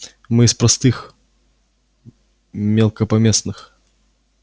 мы из простых мелкопоместных